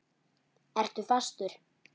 Ertu fastur?